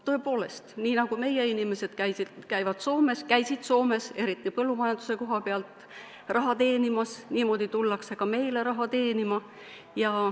Tõepoolest, nii nagu meie inimesed käisid ja käivad Soomes – eriti põllumajanduses – raha teenimas, tullakse ka meile raha teenima.